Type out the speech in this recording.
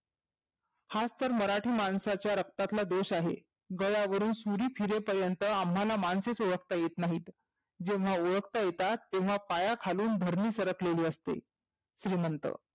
हाचं तर मराठी माणसाच्या रक्तातला दोष आहे. गळ्यावरूण सुरी फिरे पर्यंत आम्हाला माणसेचं ओळखता येत नाहीत. जेव्हा ओळखता येतात तेव्हा पायाखालून धरणी सरकलेली असते. श्रिमंत